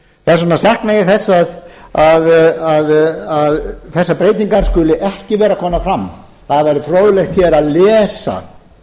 bera ábyrgð á henni þess vegna sakna ég þess að þessar breytingar skuli ekki vera komnar fram það væri fróðlegt að lesa